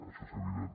això és evident